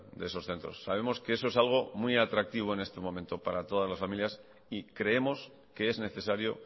de esos centros sabemos que eso es algo muy atractivo en este momento para todas las familias y creemos que es necesario